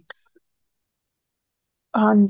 ਹਾਂਜੀ